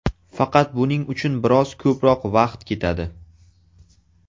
Faqat buning uchun biroz ko‘proq vaqt ketadi.